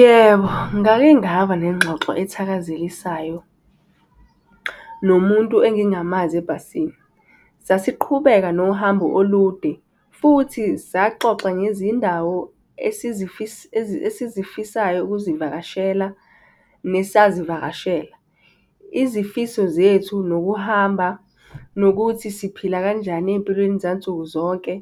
Yebo, ngake ngaba nengxoxo ethakazelisayo, nomuntu engingangamazi ebhasini. Sasiqhubeka nohambo olude futhi saxoxa ngezindawo esizifisayo ukuzivakashela nesazivakashela. Izifiso zethu nokuhamba nokuthi siphila kanjani ey'mpilweni zansuku zonke,